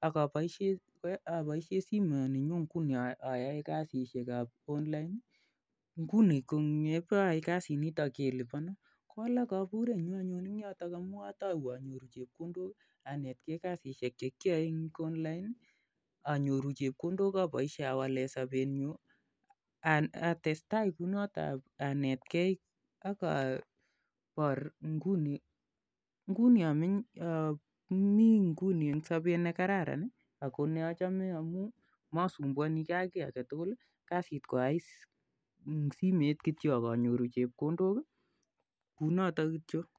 ak akoboisien simoninyun ayoe kasisiek ab online, nguni ko yekagayai kasit niton kelibonon kowalak koburenyun anyun ak yoton atou anyoru chebkondok, anetkei kasisiek chegiyoe en online anyoru chebkondok aboisien awalen sobenyun anan atestai kounoton ak abor nguni amenye ami inguni en sobet nekararan ii ako neochome amun mosumbuoni gee ak chi agetugul kasit ko ayai en simet kityok ak anyoru chebkondok, kounotok kityo.